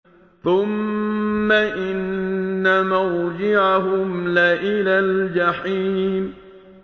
ثُمَّ إِنَّ مَرْجِعَهُمْ لَإِلَى الْجَحِيمِ